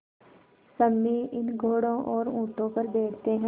सम्मी इन घोड़ों और ऊँटों पर बैठते हैं